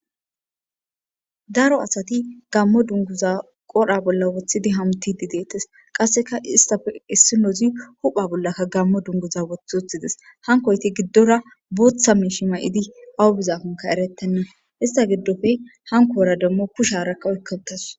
Daro asati gaamo dunguza qoodhe bolla woththidi hametishe. Qasekka istappe issinozi hupha bollaka gaamo dunguza woththi uttides. Hankoytti giidora guuththa miishi maydi awa bizankoka eretenna. Estta gidoppe hankora demo kushsharaka oykka uttadu.